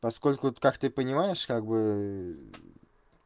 поскольку как ты понимаешь как бы